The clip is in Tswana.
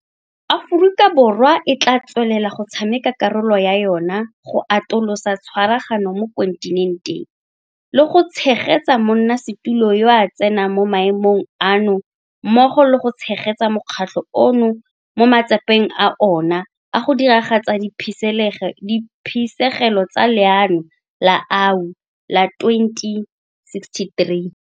Aforika Borwa e tla tswelela go tshameka karolo ya yona go atolosa tshwaragano mo kontinenteng, le go tshegetsa monnasetulo yo a tsenang mo maemong ano mmogo le go tshegetsa mokgatlho ono mo matsapeng a ona a go diragatsa diphisegelo tsa Leano la AU la 2063.